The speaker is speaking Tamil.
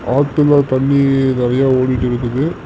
ஆத்துல தண்ணி நறிய ஓடிட்டு இருக்குது.